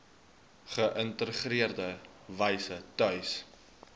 geïntegreerde wyse tuis